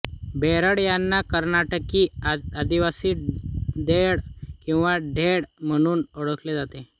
बेडर यांना कर्नाटकी आदिवाशी धेड किंवा ढेड म्हणून ओळखले जाते